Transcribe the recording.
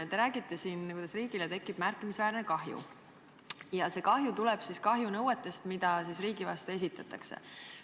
Te räägite, et riigile tekib märkimisväärne kahju, mis tuleb kahjunõuetest, mis riigi vastu esitatakse.